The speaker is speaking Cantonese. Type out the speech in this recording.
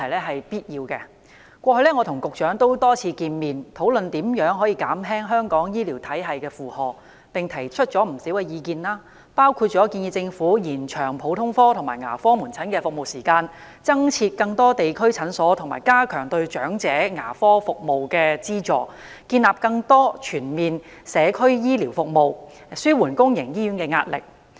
我過去曾多次與局長會面，討論如何減輕香港醫療體系的負荷，並且提出了不少意見，包括建議政府延長普通科及牙科門診服務時間、增設更多地區診所及加強對長者牙科服務的資助、建立更多全面的社區醫療服務，以紓緩公營醫院的壓力。